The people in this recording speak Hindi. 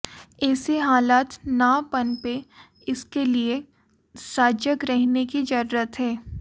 ऐसे हालात न पनपें इसके लिए सजग रहने की जरूरत है